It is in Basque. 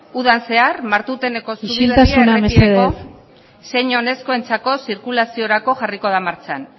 udan zehar martuteneko isiltasuna mesedez zein oinezkoentzako zirkulaziorako jarriko da martxan